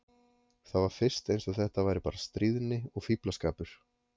Það var fyrst eins og þetta væri bara stríðni og fíflaskapur.